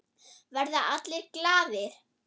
Verða allir glaðir?